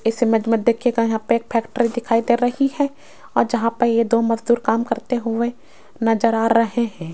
इस इमेज मे देखियेगा यहां पे एक फैक्ट्री दिखाई दे रही है और जहां पे ये दो मजदूर काम करते हुए नजर आ रहे हैं।